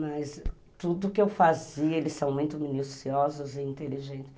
Mas tudo que eu fazia... Eles são muito minuciosos e inteligentes.